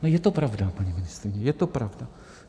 No je to pravda, paní ministryně, je to pravda.